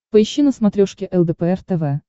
поищи на смотрешке лдпр тв